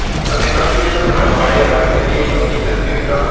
தன்னை நோக்கி வீசப்பட்ட வாளை அவர் எதிரியை நோக்கித் திருப்பிவிட்டார்